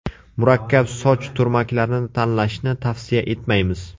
Murakkab soch turmaklarini tanlashni tavsiya etmaymiz.